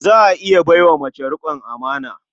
Za a iya bai wa mace riƙon amana.